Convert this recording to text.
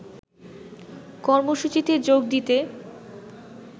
কর্মসূচিতে যোগ দিতে